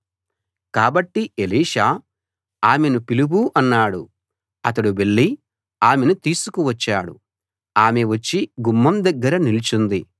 కాబట్టి ఎలీషా ఆమెను పిలువు అన్నాడు అతడు వెళ్లి ఆమెను తీసుకు వచ్చాడు ఆమె వచ్చి గుమ్మం దగ్గర నిలుచుంది